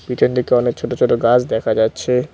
পিছন দিকে অনেক ছোটো ছোটো গাছ দেখা যাচ্ছে।